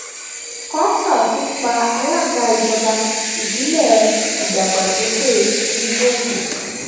kọńtà tún pa alága ìjọba ìbílẹ ìdàgbàsókè onígbòǹgbò